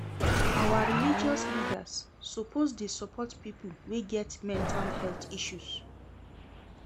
Our religious leaders suppose dey support pipo wey get mental health issues.